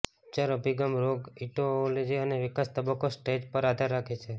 ઉપચાર અભિગમ રોગ ઈટીઓલોજી અને વિકાસ તબક્કો સ્ટેજ પર આધાર રાખે છે